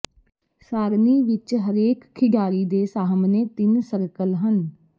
ਸਾਰਣੀ ਵਿੱਚ ਹਰੇਕ ਖਿਡਾਰੀ ਦੇ ਸਾਹਮਣੇ ਤਿੰਨ ਸਰਕਲ ਹਨ